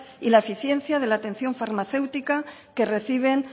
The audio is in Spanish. y la eficiencia de la atención farmacéutica que reciben